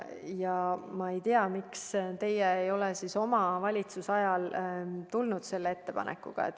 Ja ma ei tea, miks teie ei tulnud oma valitsusajal selle ettepanekuga välja.